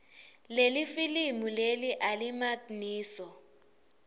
lelifilimu leli alimagniso